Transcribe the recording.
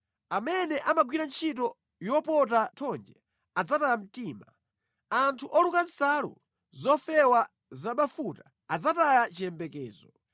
Amene amagwira ntchito yopota thonje adzataya mtima, anthu oluka nsalu zofewa zabafuta adzataya chiyembekezo.